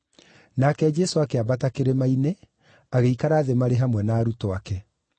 Nake Jesũ akĩambata kĩrĩma-inĩ, agĩikara thĩ marĩ hamwe na arutwo ake.